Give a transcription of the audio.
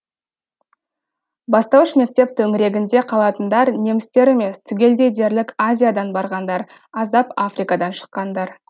бастауыш мектеп төңірегінде қалатындар немістер емес түгелдей дерлік азиядан барғандар аздап африкадан шыққандар